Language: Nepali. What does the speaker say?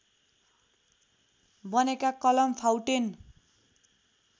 बनेका कलम फाउटेन